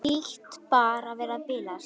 Hlýt bara að vera að bilast.